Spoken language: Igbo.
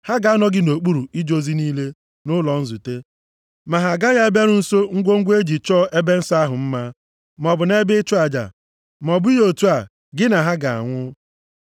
Ha ga-anọ gị nʼokpuru ije ozi niile nʼụlọ nzute, ma ha agaghị abịaru nso ngwongwo e ji chọọ ebe nsọ ahụ mma, maọbụ nʼebe ịchụ aja. Ma ọ bụghị otu a, gị na ha ga-anwụ.